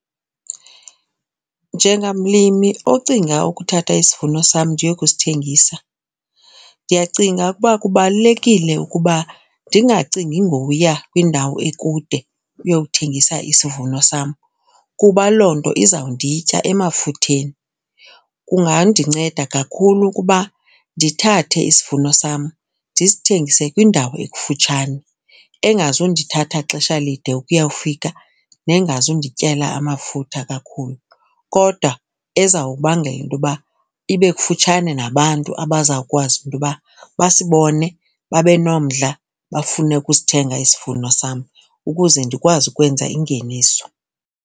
Njengamlimi ocinga ukuthatha isivuno sam ndiye kusithengisa ndiyacinga ukuba kubalulekile ukuba ndingacingi ngoya kwindawo ekude ukuyokuthengisa isivuno sam kuba loo nto izawunditya emafutheni. Kungandinceda kakhulu ukuba ndithathe isivuno sam ndisithengise kwindawo ekufutshane engazundithatha xesha lide ukuyawufika nengazundityela amafutha kakhulu. Kodwa ezawubangela intoba ibe kufutshane nabantu abazawukwazi into yoba basibone babe nomdla, bafune ukusithenga isivuno sam ukuze ndikwazi ukwenza ingeniso.